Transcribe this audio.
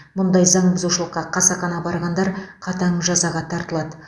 бұндай заң бұзушылыққа қасақана барғандар қатаң жазаға тартылады